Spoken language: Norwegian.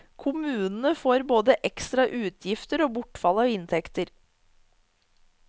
Kommunene får både ekstra utgifter og bortfall av inntekter.